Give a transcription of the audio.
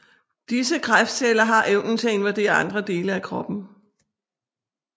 Disse kræftceller har evnen til at invadere andre dele af kroppen